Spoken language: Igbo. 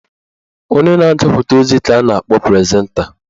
Onye na-agụpụta ozi ka a na-akpọ prezenta.